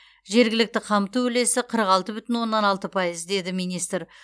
жергілікті қамту үлесі қырық алты бүтін оннан алты пайыз деді министр